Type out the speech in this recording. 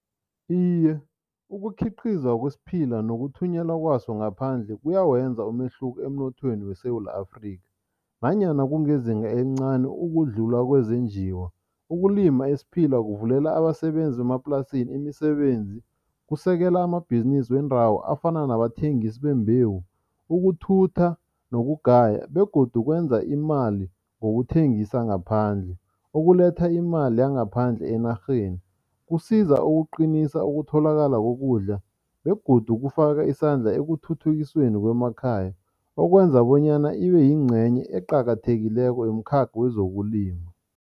Iye, ukukhiqizwa kwesiphila nokuthunyelwa kwaso ngaphandle kuyawenza umehluko emnothweni weSewula Afrika, nanyana kungezinga encani ukudlula kwezenjiwa. Ukulima isiphila kuvulela abasebenzi bemaplasini imisebenzi, kusekela amabhizinisi wendawo afana nabathengisi bembewu, ukuthutha nokugaya begodu kwenza imali ngokuthengisa ngaphandle, okuletha imali yangaphandle enarheni. Kusiza ukuqinisa ukutholakala kokudla begodu kufaka isandla ekuthuthukisweni kwemakhaya, okwenza bonyana ibeyingcenye eqakathekileko yomkhakha wezokulima.